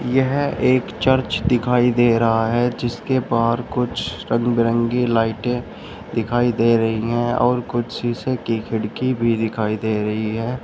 यह एक चर्च दिखाई दे रहा है जिसके बाहर कुछ रंग बिरंगी लाइटें दिखाई दे रही है और कुछ शीशे की खिड़की भी दिखाई दे रही है।